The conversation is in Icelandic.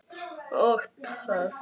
Og töff.